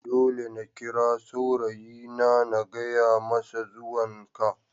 Dole na kira saurayina na gaya masa zuwan ka.